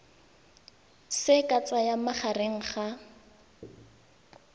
se ka tsayang magareng ga